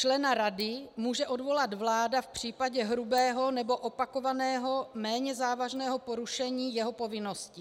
Člena rady může odvolat vláda v případě hrubého nebo opakovaného méně závažného porušení jeho povinností.